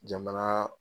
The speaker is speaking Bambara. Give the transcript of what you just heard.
Jamana